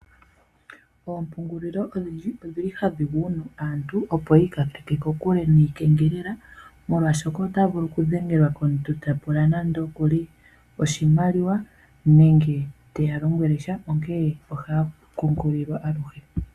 Oompungulilo odhindji odhi li hadhi gunu aantu opo yi ikankeke kokule niikengelela, molwashoka ota vulu okudhengelwa komuntu ta pula nande okuli oshimaliwa, nenge te ya lombwele sha, onkene ohaya okukunkililwa aluhe.